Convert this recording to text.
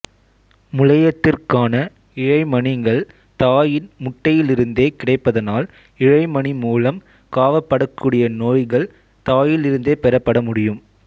முளையத்திற்கான இழைமணிகள் தாயின் முட்டை யிலிருந்தே கிடைப்பதனால் இழைமணி மூலம் காவப்படக்கூடிய நோய்கள் தாயிலிருந்தே பெறப்பட முடியும்